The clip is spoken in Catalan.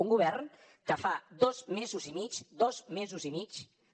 un govern que fa dos mesos i mig dos mesos i mig